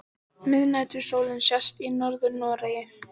Miðnætursólin sést í Norður-Noregi.